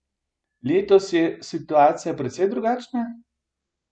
Letos je situacija precej drugačna?